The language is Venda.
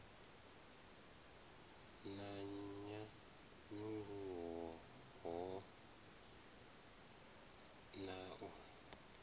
na nyanyulaho hoho na u